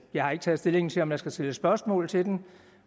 jeg har ikke taget stilling til om jeg skal stille spørgsmål til den